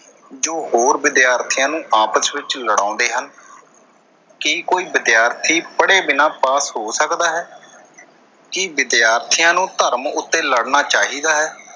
ਜੋ ਹੋਰ ਵਿਦਿਆਰਥੀਆਂ ਨੂੰ ਆਪਸ ਵਿੱਚ ਲੜਾਉਂਦੇ ਹਨ ਕੀ ਕੋਈ ਵਿਦਿਆਰਥੀ ਪੜ੍ਹੇ ਬਿਨਾਂ ਪਾਸ ਹੋ ਸਕਦਾ ਹੈ ਕੀ ਵਿਦਿਆਰਥੀਆਂ ਨੂੰ ਧਰਮ ਉੱਤੇ ਲੜਣਾ ਚਾਹੀਦਾ ਹੈ?